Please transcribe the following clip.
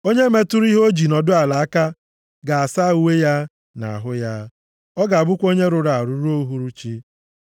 Onye metụrụ ihe o ji nọdụ ala aka ga-asa uwe ya na ahụ ya. Ọ ga-abụ onye rụrụ arụ ruo uhuruchi.